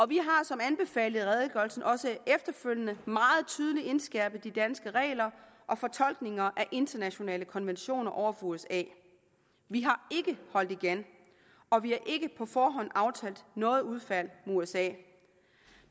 vi har som anbefalet i redegørelsen også efterfølgende meget tydeligt indskærpet de danske regler og fortolkninger af internationale konventioner over for usa vi har ikke holdt igen og vi har ikke på forhånd aftalt noget udfald med usa